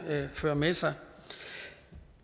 føre med sig